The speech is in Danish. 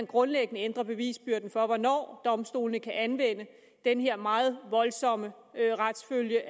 grundlæggende ændrer bevisbyrden for hvornår domstolene kan anvende den her meget voldsomme retsfølge